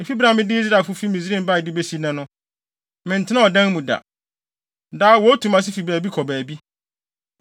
Efi bere a mede Israelfo fi Misraim bae de besi nnɛ no, mentenaa ɔdan mu da. Daa wotu mʼase fi baabi kɔ baabi.